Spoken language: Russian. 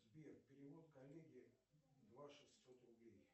сбер перевод коллеге два шестьсот рублей